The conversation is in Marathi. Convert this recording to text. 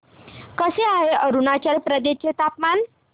कसे आहे अरुणाचल प्रदेश चे हवामान